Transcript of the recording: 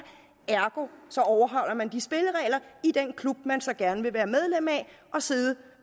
ergo overholder man de spilleregler i den klub man så gerne vil være medlem af og sidde